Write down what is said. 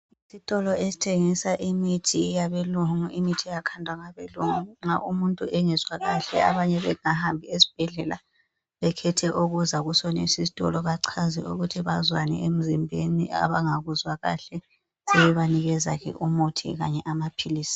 Isitolo esithengisa imithi eyabelungu, imithi eyakhandwa ngabelungu nxa umuntu engezwa kahle. Abanye bengakahambi esibhedlela bekhethe ukuza kusonesi isitolo, bachaze ukuthi bazwani emzimbeni abangakuzwa kahle sebebanikeza umuthi kanye amaphilisi.